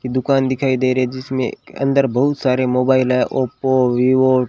कि दुकान दिखाई दे रही जिसमें अंदर बहुत सारे मोबाइल है ओप्पो वीवो --